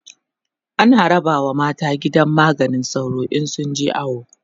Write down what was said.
ana rabawa mata gidan maganin sauro in sun je awo